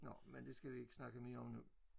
Nå men det skal vi ikke snakke mere om nu